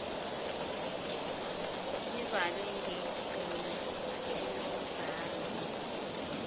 zivalwe ngengcina enombhalo